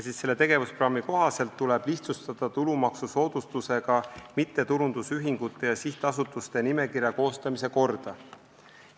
Selle tegevusprogrammi kohaselt tuleb lihtsustada tulumaksusoodustusega mittetulundusühingute ja sihtasutuste nimekirja koostamise korda.